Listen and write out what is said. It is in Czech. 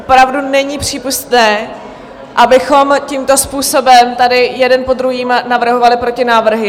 Opravdu není přípustné, abychom tímto způsobem tady jeden po druhém navrhovali protinávrh.